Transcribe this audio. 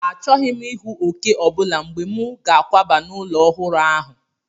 Achọghị m ịhụ òkè ọ bụla mgbe m ga-akwaba n'ụlọ ọhụrụ ahụ.